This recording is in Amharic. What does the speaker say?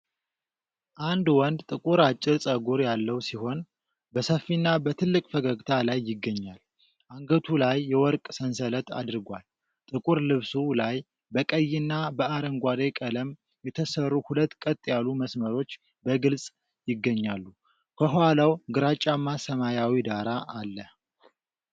አንድ ወንድ ጥቁር አጭር ፀጉር ያለው ሲሆን፤ በሰፊና በትልቅ ፈገግታ ላይ ይገኛል። አንገቱ ላይ የወርቅ ሰንሰለት አድርጓል። ጥቁር ልብሱ ላይ በቀይና በአረንጓዴ ቀለም የተሰሩ ሁለት ቀጥ ያሉ መስመሮች በግልጽ ይገኛሉ። ከኋላው ግራጫማ ሰማያዊ ዳራ አለ።